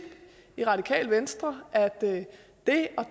i radikale venstre at det at